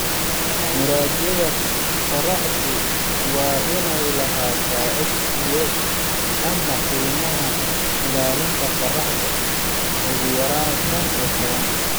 Muraayada qorraxdu waa inay lahaataa SPF, ama qiimaynta ilaalinta qorraxda, ugu yaraan shaan iyo tobaan .